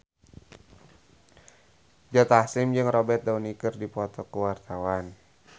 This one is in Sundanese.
Joe Taslim jeung Robert Downey keur dipoto ku wartawan